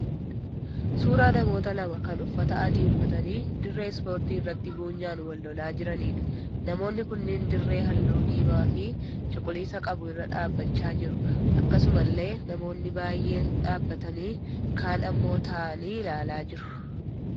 Suuraa namoota lama kan uffata adii uffatanii dirree 'ispoortii' irratti buunyaan wal lolaa jiraniidha. Namoonni kunneen dirree halluu diimaa fi cuquliisa qabu irra dhaabbachaa jiru. Akkasumallee namoonni baay'een dhaabbatanii ka'aan immoo ta'aanii ilaalaa jiru.